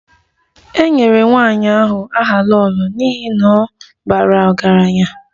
E nyere nwanyị ahụ aha 'Lolo' n'ihi na ọ bara ọgaranya